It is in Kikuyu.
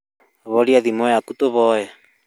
Horia thimũ yaku tũhoe